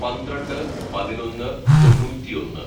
"പന്ത്രണ്ട് പതിനൊന്ന് തൊണ്ണൂറ്റിയൊന്ന്‌